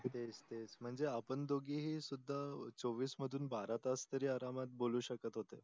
तेच तेच म्हणजे आपण दोगेही सुद्धा चोविस मधून बारा तास तरी अरामात बोलू शकत होते.